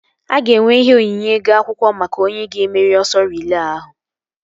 A ga-enwe ihe onyinye ego akwụkwọ maka onye ga-emeri ọsọ riile ahụ